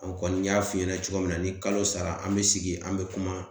An kɔni y'a f'i ɲɛna cogo min na, ni kalo sara an be sigi an be kuma.